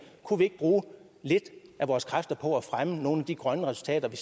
kunne vi ikke bruge lidt af vores kræfter på at fremme nogle af de grønne resultater vi